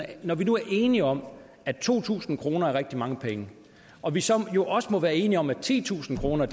når vi nu er enige om at to tusind kroner er rigtig mange penge og vi så også må være enige om at titusind kroner